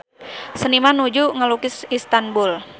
Seniman nuju ngalukis Istanbul